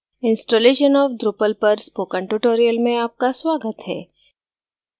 installation of drupal पर spoken tutorial में आपका स्वागत है